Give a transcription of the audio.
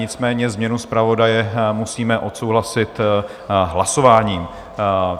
Nicméně změnu zpravodaje musíme odsouhlasit hlasováním.